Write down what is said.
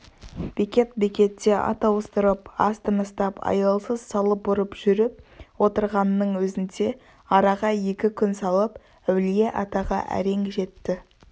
бекет-бекетте ат ауыстырып аз тыныстап аялсыз салып ұрып жүріп отырғанның өзінде араға екі күн салып әулие-атаға әрең жетті